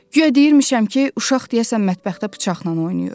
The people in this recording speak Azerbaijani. Guya deyirmişəm ki, uşaq deyəsən mətbəxdə bıçaqla oynayır.